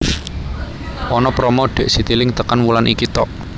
Ono promo dek Citilink tekan wulan iki tok